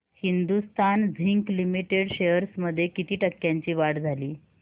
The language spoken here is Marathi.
हिंदुस्थान झिंक लिमिटेड शेअर्स मध्ये किती टक्क्यांची वाढ झाली